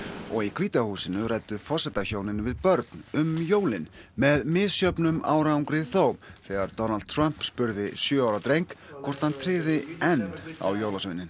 og í hvíta húsinu ræddu forsetahjónin við börn um jólin með misjöfnum árangri þó þegar Donald Trump spurði sjö ára dreng hvort hann tryði enn á jólasveininn